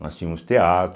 Nós tínhamos teatro,